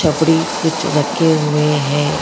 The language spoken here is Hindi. छपड़ी कुछ रखे हुए हैं।